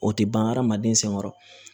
O tɛ ban hadamaden sɛngɛn